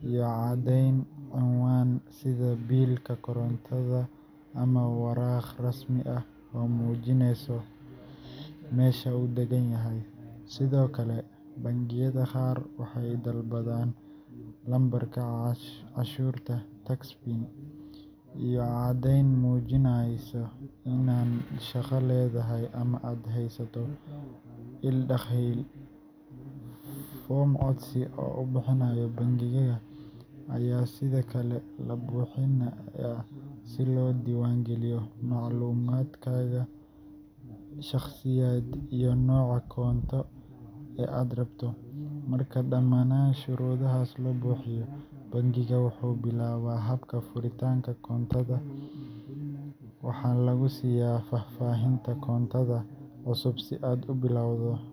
iyo cadeyn ciwan sidha bill korontada ama waraq rasmi ah oo mujineyso mesha uu daganyaxay, Sidhokale bangiyada gaar waxay dalbadan number cashurta tax pin iyo cadeyn mujinayso ina shagaa ledahay, ama aad haysato ill daqal, form codsi u bihinayo bangiyada aya Sidhokale labuhinaya sii lodiwangaliyo maclumadkada , shagsiyad iyo noca koonto aad rabto, marka damanan shurudaxas labuhiyo bangika wuxu bilawa habka furitanka koontada waxa lagusiya faafahinta koontada cusub si aad ubilabto.